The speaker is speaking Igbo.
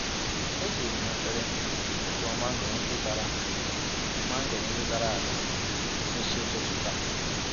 E jiri m efere tụtụọ mangoro ndị dara mangoro ndị dara ada n'isi ụtụtụ taa.